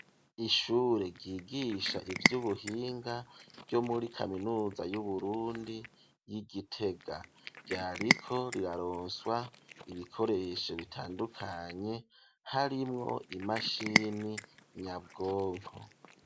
Ishure ryigisha ivy'ubuhinga ryo muri kaminuza y'Uburundi ry'i Gitega. Ryariko riraroswa ibikoresho bitandukanye harimwo imashini nyabwonko.